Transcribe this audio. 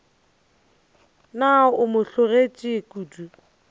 na o mo hlologetše kodu